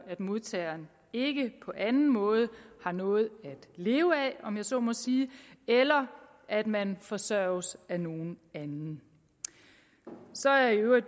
at modtageren ikke på anden måde har noget at leve af om jeg så må sige eller at man forsørges af nogen anden så er jeg i øvrigt